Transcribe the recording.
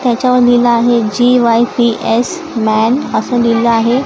त्याच्यावर लिहिलं आहे G Y F S man असं लिहिलेलं आहे.